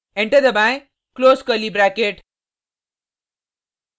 enter दबाएँ close curly bracket